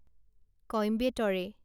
কইম্বেটৰে